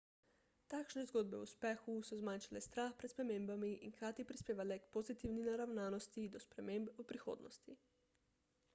takšne zgodbe o uspehu so zmanjšale strah pred spremembami in hkrati prispevale k pozitivni naravnosti do sprememb v prihodnosti